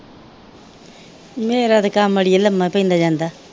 ਮੇਰਾ ਤੇ ਕੰਮ ਅੜੀਏ ਲੰਮਾ ਈ ਪੈਂਦਾ ਜਾਂਦਾ।